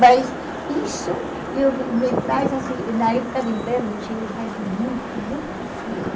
Mas isso eu me me traz assim, na época de inverno em Chile faz muito, muito frio.